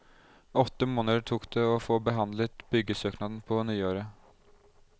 Åtte måneder tok det å få behandlet byggesøknaden på nyåret.